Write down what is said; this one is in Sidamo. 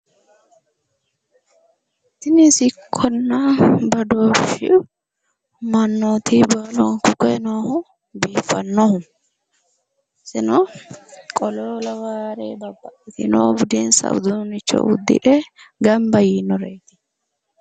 Tini sicconna badooshshu mannoti borro koye noohu kultannohu iseno qolo lawaare babbaxitino budinsa uduunnicho uddire gamba yiinoreeti.